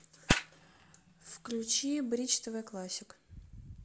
включи бридж тв классик